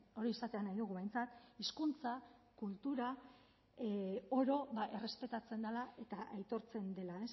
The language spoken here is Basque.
hori izatea nahi dugu behintzat hizkuntza kultura oro errespetatzen dela eta aitortzen dela